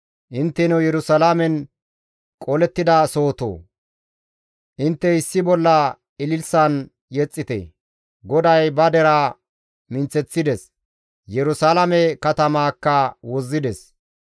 Intteno Yerusalaamen qolettida sohotoo! Intte issi bolla ililisan yexxite; GODAY ba deraa minththeththides; Yerusalaame katamaakka wozzides.